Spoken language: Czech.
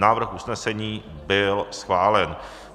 Návrh usnesení byl schválen.